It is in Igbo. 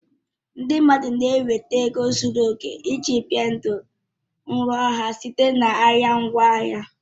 Ndị mmadụ na-enweta ego zuru oke iji bie ndụ nrọ ha site na ahịa ngwaahịa